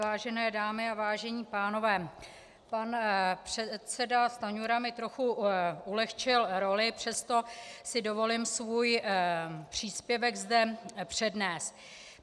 Vážené dámy a vážení pánové, pan předseda Stanjura mi trochu ulehčil roli, přesto si dovolím svůj příspěvek zde přednést.